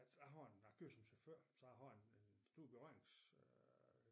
Jeg har en jeg kører som chauffør så jeg har en en stor berørings øh